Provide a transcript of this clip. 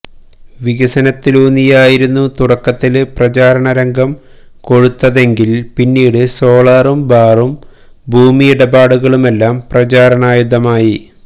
വികസനത്തിലൂന്നിയായിരുന്നു തുടക്കത്തില് പ്രചാരണ രംഗം കൊഴുത്തതെങ്കില് പിന്നീട് സോളാറും ബാറും ഭൂമിയിടപാടുകളുമെല്ലാം പ്രചാരണായുധമായി